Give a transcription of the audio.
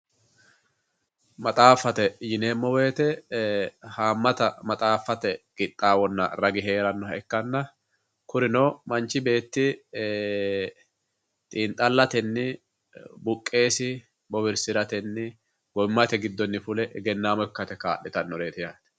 maxxafate yinemo woyitte ee haamatta maxxafatte qixawonna raagi heranoha ikanna kuuri noo manchi betti ee xinixalatenni buqessi boowirisiratenni gowimatte gidonni fulle egenamo ikatte kalitanoretti yatte